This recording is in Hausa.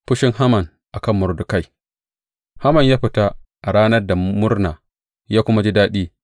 Fushin Haman a kan Mordekai Haman ya fita a ranan da murna, ya kuma ji daɗi.